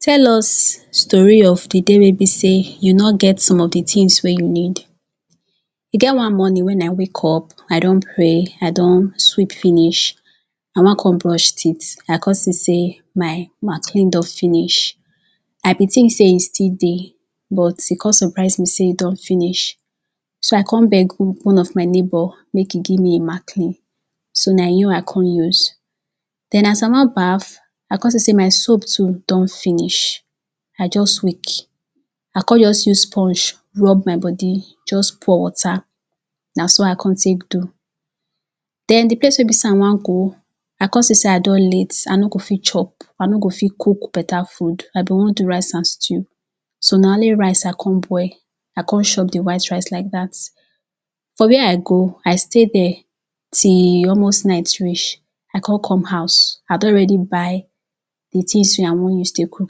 tell us story of the day wey be sey you no get some of the things wey you need e get one morning wen i wake up i don pray i don sweep finish i wan come brush teeth i come see sey my maclean don finish i been tink sey e still dey but e come suprise me sey e don finish so i come beg one of my neighbor make e give me maclean so na him i come use then as i wan baff i come see sey my soap too don finish i just weak i come just sponge rub my body just pour water na so i come take do then the place wey be sey i wan go i come see sey i don late i no fit chop i no fit cook beta food i bin wan do rice and stew so na only rice i come boil i come chop the white rice like that for where i go i stay there till almost night reach i come come house i don already buy the tings wey i take do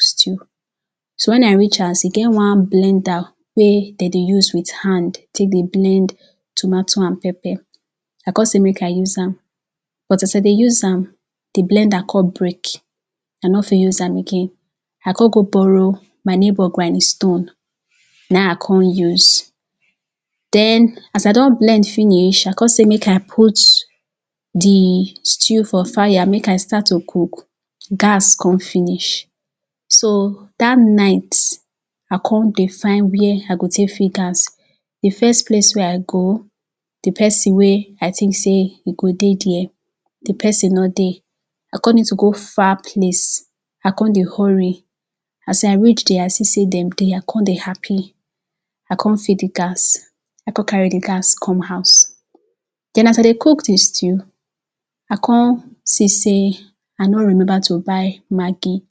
stew so wen i reach house e get one blender wey dey dey use with hand take blend tomato and pepper i cpme sey make i use hand but as i dey use hand the blender come break i no fit use am again i come go borrow my neighbor granding stone na im i come use then as i don blend finish i come sey make i put the stew for fire make i start to cook gas come finish so that night i come dey find where i go take fill gas the first place wey i go the person wey i think sey e go dey there the person no dey i come need to go far place i come dey hurry as i reach there i see sey dem dey i come dey happy i come fill the gas i come carry the gas come house then as i dey cook the stew i come see sey i no remember to buy maggi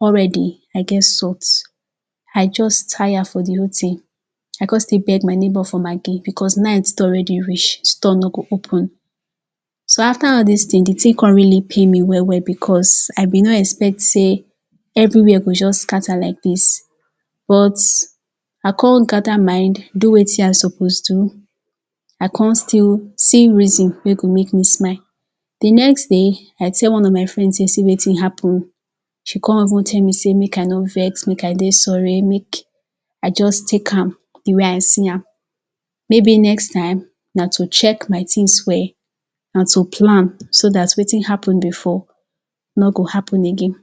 already i get salt i just tire for the whole ting i come still beg my neighbor for maggi because night don already reach store no go open so after all this ting the ting com really pain me well well because i been no expect sey every where go just scatter like this but i come gather mind do wetin i suppose do i come still see reason wey go make me smile the next day i tell one of my friend sey see wetin happen she come even tell me sey make i no vex make i dey sorry make i just take am the way i see am maybe next time na to check my tings well and to plan so that wetin happen before no go happen again